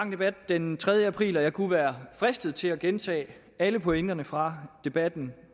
debat den tredje april og jeg kunne være fristet til at gentage alle pointerne fra debatten